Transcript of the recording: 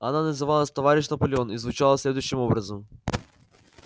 она называлась товарищ наполеон и звучала следующим образом